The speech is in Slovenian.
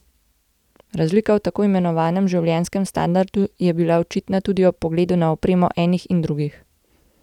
Razlika v tako imenovanem življenjskem standardu je bila očitna tudi ob pogledu na opremo enih in drugih.